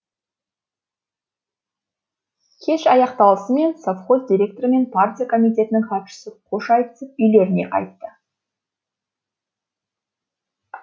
кеш аяқталысымен совхоз директоры мен партия комитетінің хатшысы хош айтысып үйлеріне қайтты